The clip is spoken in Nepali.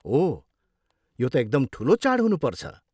ओह, यो त एकदम ठुलो चाड हुनुपर्छ।